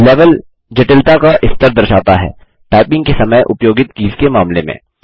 level जटिलता का स्तर दर्शाता है टाइपिंग के समय उपयोगित कीज के मामले में